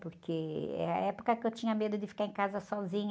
Porque é a época que eu tinha medo de ficar em casa sozinha.